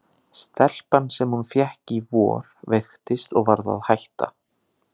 Stelpan sem hún fékk í vor veiktist og varð að hætta.